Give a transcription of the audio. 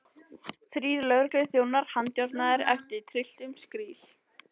Þrír lögregluþjónar handjárnaðir af trylltum skríl.